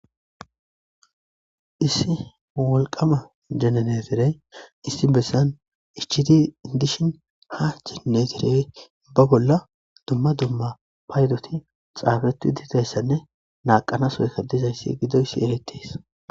issi walqama jenenetirey issi bessan ichiti indishin ha chinnetirey ba bolla dumma dumma paydoti xaafetu diteyssanne naaqanas woykadizayssi gidoysi eletes